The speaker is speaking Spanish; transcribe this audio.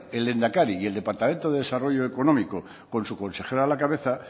el lehendakari y departamento de desarrollo económico con su consejera a la cabeza